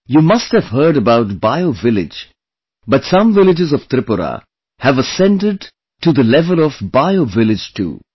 You must have heard about BioVillage, but some villages of Tripura have ascended to the level of BioVillage 2